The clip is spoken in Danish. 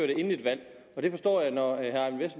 det inden et valg og der forstår jeg når herre eyvind